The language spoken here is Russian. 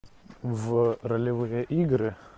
в ролевые игры